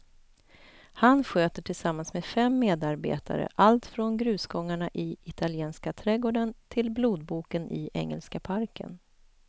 Han sköter tillsammans med fem medarbetare allt från grusgångarna i italienska trädgården till blodboken i engelska parken.